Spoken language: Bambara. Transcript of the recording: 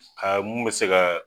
Aa mun bɛ se k'a